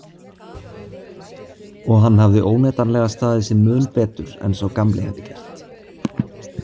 Og hann hafði óneitanlega staðið sig mun betur en sá gamli hefði gert.